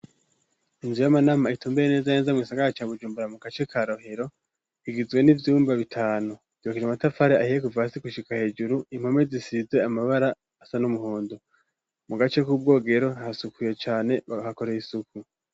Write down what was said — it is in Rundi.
Inzu y'amanama itumbereye neza na neza mu gisagara ca Bujumbura, mu gace ka Rohero, igizwe n'ivyumba bitanu. Yubakishijwe n'amatafari ahiye kuva hasi gushika hejuru, impome zisize amabara asa n'umuhondo. Mu gace k'ubwogero harasukuye cane, bahakorera isuku.